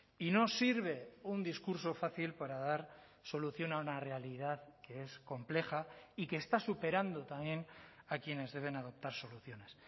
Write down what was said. y no sirve un discurso fácil para dar solución a una realidad que es compleja y que está superando también a quienes deben adoptar soluciones